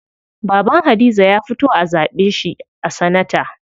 Baban Hadiza ya fito a zaɓe shi a sanata.